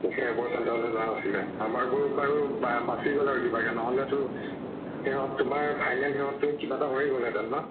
সেইবোৰ center লৈ যোৱা নাছিলে। আমাৰবোৰ বাৰু বা বাছি গল আৰু কিবাকে নহলেটো সেহত তোমাৰ final সেহত কিবা এটা হৈয়ে গলে হেতেন ন?